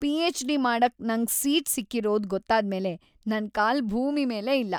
PhD. ಮಾಡಕ್ ನಂಗ್ seat ಸಿಕ್ಕಿರೋದ್‌ ಗೊತ್ತಾದ್ಮೇಲೆ ನನ್‌ ಕಾಲು ಭೂಮಿ ಮೇಲೇ ಇಲ್ಲ.